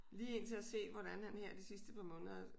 Lige indtil at se hvordan her de sidste par måneder